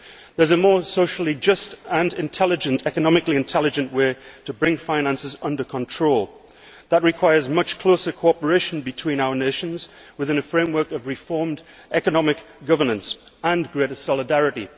There is a more socially just and economically intelligent way to bring finances under control which requires much closer cooperation between our nations within a framework of reformed economic governance and greater solidarity.